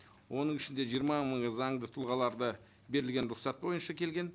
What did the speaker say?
оның ішінде жиырма мың заңды тұлғаларды берілген рұқсат бойынша келген